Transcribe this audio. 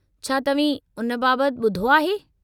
छा तव्हीं उन बाबति ॿुधो आहे?